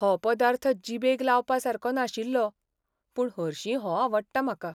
हो पदार्थ जीबेक लावपा सारको नाशिल्लो, पूण हरशीं हो आवडटा म्हाका.